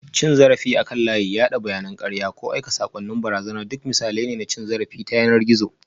Cin zarafi akan layi, yada bayanan karya, ko aika saƙonnin barazana duk misalai ne na cin zarafi ta yanar gizo